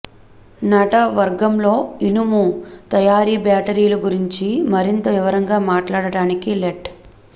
నటవర్గంలో ఇనుము తయారు బ్యాటరీలు గురించి మరింత వివరంగా మాట్లాడటానికి లెట్